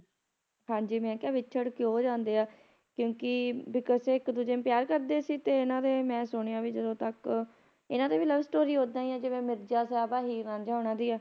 ਹਾਂਜੀ ਮੈਂ ਕਿਹਾ ਵਿਛੜ ਕਿਉਂ ਜਾਂਦੇ ਆ ਕਿਉਂਕਿ because ਇਕ ਦੂਜੇ ਨੂੰ ਪਿਆਰ ਕਰਦੇ ਸੀ ਤੇ ਇਹਨਾਂ ਦੇ ਮੈਂ ਸੁਣਿਆ ਵੀ ਜਦੋ ਤਕ ਇਹਨਾਂ ਦੀ ਵੀ love story ਓਹਦਾ ਹੀ ਆ ਜਿਵੇਂ ਮਿਰਜ਼ਾ ਸਾਹਿਬ ਹੀਰ ਰਾਂਝਾ ਹੋਣਾ ਦੀ ਆ